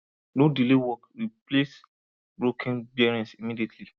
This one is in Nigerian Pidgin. no delay work replace broken bearings immediately